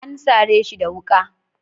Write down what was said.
An sare shi da wuka.